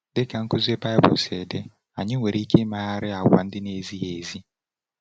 Dị ka nkuzi Baịbụl si dị, anyị nwere ike imegharị àgwà ndị na-ezighị ezi.